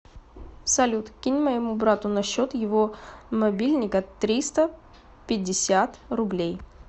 салют кинь моему брату на счет его мобильника триста пятьдесят рублей